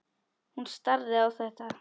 Hún starði á þetta.